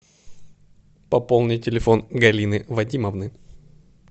пополни телефон галины вадимовны